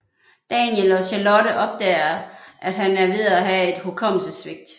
Daniel og Charlotte opdager at han er ved at have et hukommelsessvigt